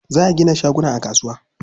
Za a gina shaguna a kasuwa.